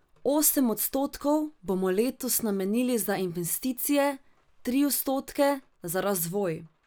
Osem odstotkov bomo letos namenili za investicije, tri odstotke za razvoj.